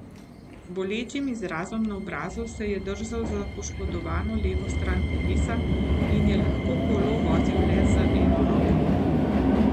Z bolečim izrazom na obrazu se je držal za poškodovano levo stran telesa in je lahko kolo vozil le z eno roko.